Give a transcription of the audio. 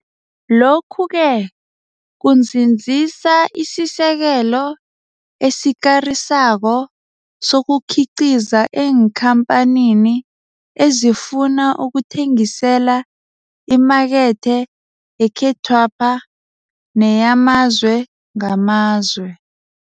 Lokhu-ke kunzinzisa isisekelo esikarisako sokukhiqiza eenkhampanini ezifuna ukuthengisela imakethe yekhethwapha neyamazwe ngamazwe.